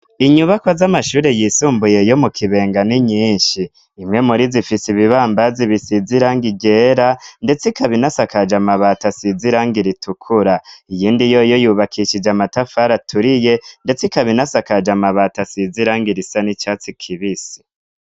Inyubako z'amashure yisumbuye yo mu kibengani nyinshi impwe muri zifise ibibambazi bisizirango igera, ndetse ikabinasakaje amabato asizirango iritukura iyindi yo yo yubakishije amatafara aturiye, ndetse kabinasakaje amabato asizirango irisa n'icatsi kibisi.